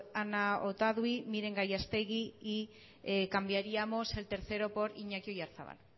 ana otadui miren gallastegui y cambiaríamos el tercero por iñaki oyarzabal